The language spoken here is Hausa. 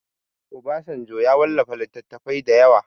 Obasanjo ya wallafa littattafai da yawa